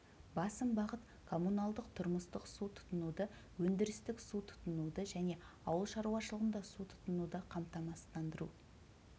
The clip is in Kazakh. басым бағыт коммуналдық-тұрмыстық су тұтынуды өндірістік су тұтынуды және ауыл шаруашылығында су тұтынуды қамтамасыздандыру